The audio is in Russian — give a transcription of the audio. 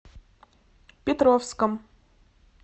петровском